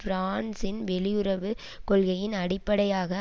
பிரான்சின் வெளியுறவு கொள்கையின் அடிப்படையாக